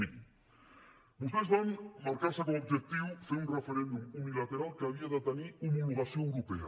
mirin vostès van marcar se com a objectiu fer un referèndum unilateral que havia de tenir homologació europea